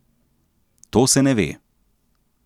To se ne ve.